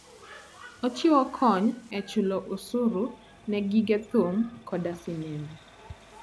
Ochiwo kony e chulo osuru ne gige thum koda sinembe.